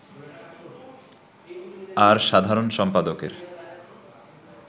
আর সাধারণ সম্পাদকের